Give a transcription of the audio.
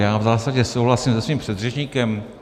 Já v zásadě souhlasím se svým předřečníkem.